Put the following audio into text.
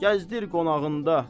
gəzdir qonağında.